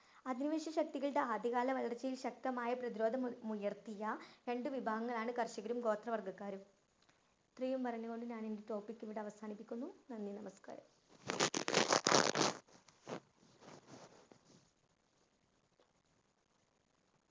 അധിനിവേശ ശക്തികളുടെ ആദ്യകാല വളര്‍ച്ചയില്‍ ശക്തമായ പ്രതിരോധമുയര്‍ത്തിയ രണ്ടു വിഭാഗങ്ങളാണ് കര്‍ഷകരും, ഗോത്രവിഭാഗക്കാരും. ഇത്രയും പറഞ്ഞു കൊണ്ട് ഞാനെന്‍റെ topic ഇവിടെ അവസാനിപ്പിക്കുന്നു. നന്ദി, നമസ്കാരം.